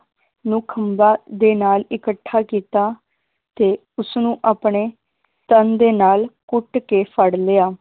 ਨੂੰ ਖੰਭਾਂ ਦੇ ਨਾਲ ਇਕੱਠਾ ਕੀਤਾ ਤੇ ਉਸਨੂੰ ਆਪਣੇ ਤਨ ਦੇ ਨਾਲ ਘੁੱਟ ਕੇ ਫੜ ਲਿਆ,